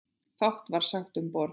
Fátt var sagt um borð.